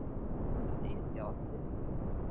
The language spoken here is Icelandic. Að etja oddi við einhvern